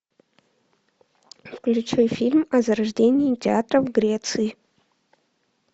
включи фильм о зарождении театра в греции